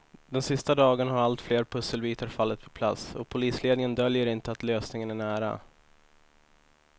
De sista dagarna har allt fler pusselbitar fallit på plats och polisledningen döljer inte att lösningen är nära.